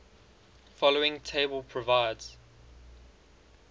following table provides